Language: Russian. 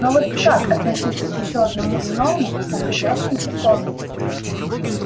но вот как относиться к ещё одному иному находящемуся в комнате